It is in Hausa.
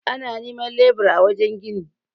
ana neman lebura a wajen gini